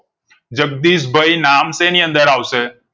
જગદીશભાઈ નામ શેની અંદર આવશે